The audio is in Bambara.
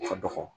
Ka dɔgɔ